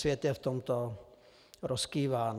Svět je v tomto rozkýván.